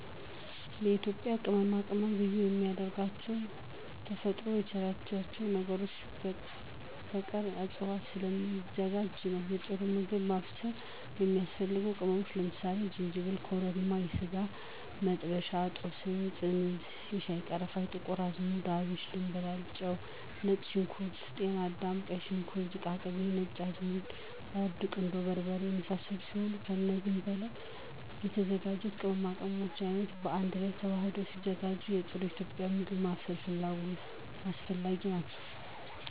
የኢትዩጱያ ቅመማቅመም ልዩ የሚያደርገው ተፈጥሮ ከቸረቻቸው አገር በቀል እፅዋቶች ስለሚዘጋጅ ነው ለጥሩ ምግብ ማብሰል የሚያስፈልጉ ቅመሞች ለምሳሌ፦ ዝንጂብል፣ ኮረሪማ፣ የስጋመጥበሻ፣ ጦስኝ፣ ጥምዝ፣ የሻይቀረፋ፣ ጥቁርአዝሙድ፣ አብሽ፣ ድምብላል፣ ጨው፣ ነጭሽንኩርት፣ ጢናዳም፣ ቀይሽንኩርት፣ ዝቃቅቤ፣ ነጭአዝሙድ፣ እርድ፣ ቁንዶበርበሬ የመሳሰሉት ሲሆኑ እነዚ ከላይ የተዘረዘሩት የቅመማቅመም አይነቶች ባአንድላይ ተዋህደው ሲዘጋጁ ለጥሩ ኢትዩጵያዊ ምግብ ማብሰል አስፈላጊ ናቸው።